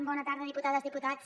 bona tarda diputades diputats